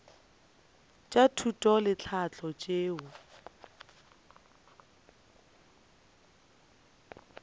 tša thuto le tlhahlo tšeo